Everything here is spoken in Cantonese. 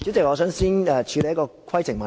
你有甚麼規程問題？